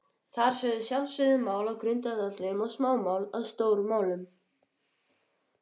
Þar urðu sjálfsögð mál að grundvallaratriðum og smámál að stórmálum.